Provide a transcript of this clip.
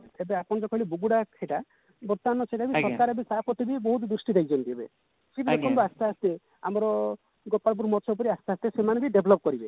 ଏବେ ଆପଣ ଯୋଉ କହିଲେ ବୁଗୁଡା ସେଟ ବର୍ତମାନ ସରକାର ତା ପ୍ରତି ବି ବହୁତ ଦ୍ରୁଷ୍ଟି ଦେଇଛନ୍ତି ଏବେ ଦେଖନ୍ତୁ ଆସ୍ତେ ଆସ୍ତେ ଆମର ଗୋପାଳପୁର ଆସ୍ତେ ଆସ୍ତେ ସେମାନେ ବି develop କରିବେ